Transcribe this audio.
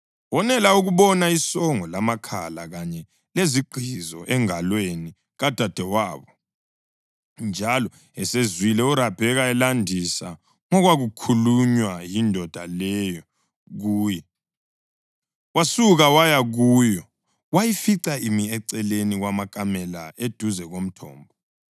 Wonela ukubona isongo lamakhala kanye lezigqizo engalweni kadadewabo, njalo esezwile uRabheka elandisa ngokwakhulunywa yindoda leyo kuye, wasuka waya kuyo wayifica imi eceleni kwamakamela eduze komthombo.